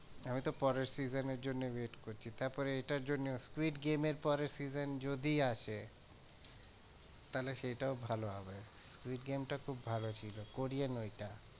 আমি তো পরের season এর জন্য wait করছি। তারপরে এটার জন্যেও squid game এর পরের season যদি আসে তাহলে সেই টাও ভালো হবে। squid game টা খুব ভালো ছিল কোরিয়ান ওইটা।